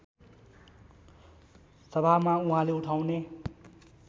सभामा उहाँले उठाउने